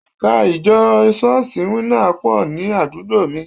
Ẹ̀ka ìjọ Ṣọ́ọ̀ṣì Winners pọ̀ ní àdúgbò mi